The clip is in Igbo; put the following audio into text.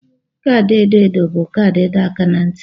Kaadị edo edo bụ kaadị ịdọ aka ná ntị.